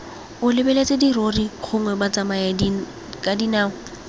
o lebeletse dirori gongwe batsamayakadinao